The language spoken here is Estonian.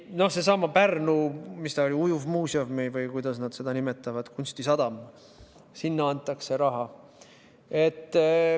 Seesama Pärnu, mis ta oli, ujuvmuuseum või kuidas nad seda nimetavad, kunstisadam – sinna antakse raha.